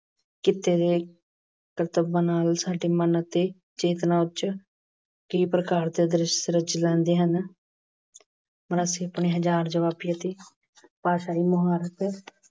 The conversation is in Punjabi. ਕਿੱਤੇ ਦੇ ਕਰਤਵਾਂ ਨਾਲ ਸਾਡੇ ਮਨ ਅਤੇ ਚੇਤਨਾ ਉਚ ਕਈ ਪ੍ਰਕਾਰ ਦੇ ਦ੍ਰਿਸ਼ ਰਚੇ ਜਾਂਦੇ ਹਨ। ਮਰਾਸੀ ਆਪਣੀ ਹਾਜ਼ਰ ਜੁਆਬੀ ਅਤੇ ਭਾਸ਼ਾ ਦੀ ਮੁਹਾਰਤ